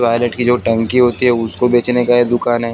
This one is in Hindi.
टायलेट की जो टंकी होती है उसको बेचने का ये दुकान है।